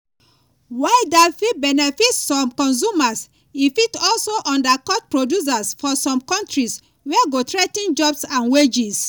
while dat fit benefit some consumers e fit also undercut producers for some kontris wey go threa ten jobs and wages.